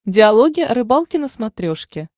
диалоги о рыбалке на смотрешке